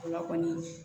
O la kɔni